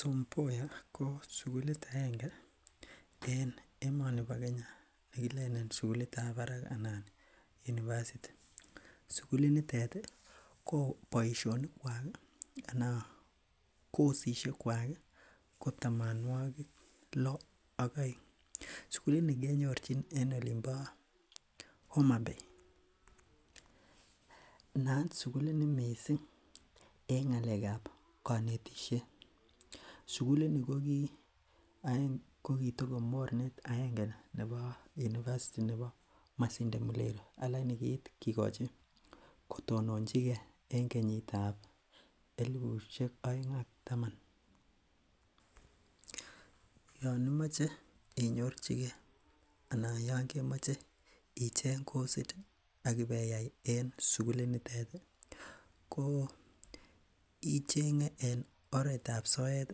Tom Mboya ko sukulit agenge en emet ab Kenya nekilenen sukulit ab barak anan university sukulit nitet ko boisionik kwak ana kosisiek kwak ih ko tamonwogik lo ak oeng, sukulit ni kenyorchin olin bo Homabay naat sukulit ni missing en ng'alek ab konetisiet sukulit ni kokitoko mornet agenge nebo university nebo Masinde Muliro lakini kiit kikochi kotononji gee en kenyit ab elipusiek oeng ak taman. Yon imoche inyorchigee anan yon kemoche icheng kosit ak ibeyai en sukulit nitet ko icheng'e en oret ab soet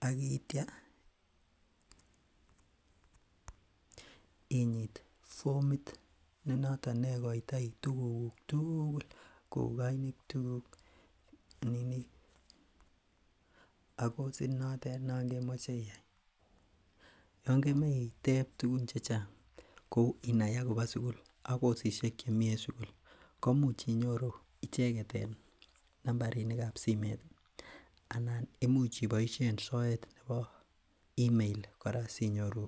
ak itya inyit fomit ne noton ikoitoi tuguk tugul kou koinutik kuk ak kosit notet nekemoche iyai. Yon kemoe itep tugun chechang kou inai akobo sugul ak kosisiek chemii en sugul ko imuch inyoru icheket en nambarinik ab simet anan imuch iboisien soet nebo email kora sinyoru